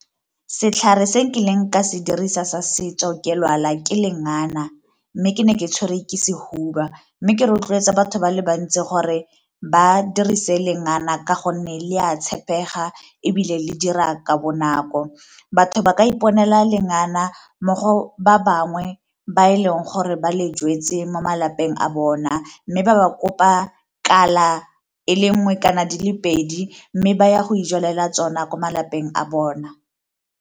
Setlhare se nkileng ka se dirisa sa setso ke lwala ke lengana mme ke ne ke tshwere ke sehuba, mme ke rotloetsa batho ba le bantsi gore ba dirise lengana ka gonne le a tshepega ebile le dira ka bonako. Batho ba ka iponela lengana mo go ba bangwe ba e leng gore ba le jetse mo malapeng a bona. Mme ba ba kopa kala ele nngwe kana di le pedi mme ba ya go ijalela tsona ko malapeng a bona.